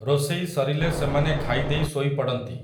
ରୋଷେଇ ସରିଲେ ସେମାନେ ଖାଇଦେଇ ଶୋଇପଡ଼ନ୍ତି ।